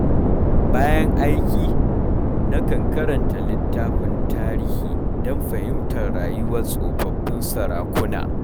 Bayan aiki, nakan karanta littafin tarihi don fahimtar rayuwar tsofaffin sarakuna.